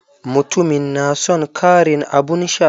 Mutumin na son karin abun sha.